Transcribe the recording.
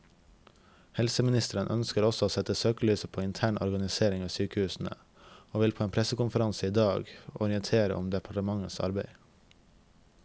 Helseministeren ønsker også å sette søkelyset på intern organisering ved sykehusene, og vil på en pressekonferanse i dag orientere om departementets arbeid.